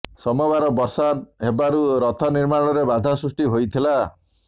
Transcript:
ସୋମବାର ବର୍ଷା ହେବାରୁ ରଥ ନିର୍ମାଣରେ ବାଧା ସୁଷ୍ଟି ହୋଇଥିଲା